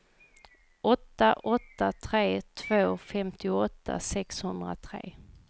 åtta åtta tre två femtioåtta sexhundratre